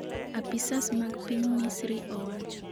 Apisas mag piny Misri owacho.